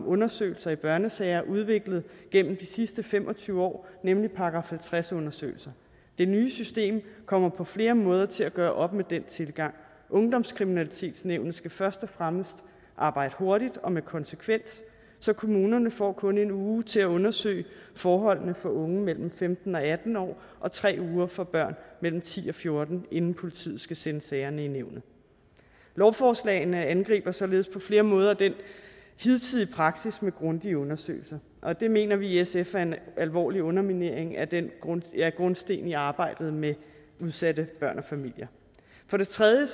undersøgelser i børnesager udviklet gennem de sidste fem og tyve år nemlig § halvtreds undersøgelser det nye system kommer på flere måder til at gøre op med den tilgang ungdomskriminalitetsnævnet skal først og fremmest arbejde hurtigt og med konsekvens så kommunerne får kun en uge til at undersøge forholdene for unge mellem femten og atten år og tre uger for børn mellem ti og fjorten år inden politiet skal sende sagerne i nævnet lovforslagene angriber således på flere måder den hidtidige praksis med grundige undersøgelser og det mener vi i sf er en alvorlig underminering af grundstenen i arbejdet med udsatte børn og familier for det tredje